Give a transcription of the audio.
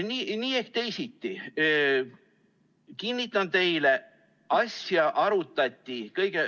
Nii ehk teisiti, kinnitan teile, et asja arutati.